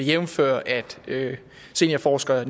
jævnfør at seniorforsker